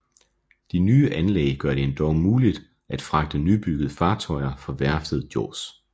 De nye anlæg gør det endog muligt at fragte nybyggede fartøjer fra værftet Jos